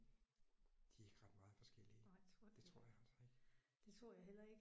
De er ikke ret meget forskellige. Det tror jeg altså ikke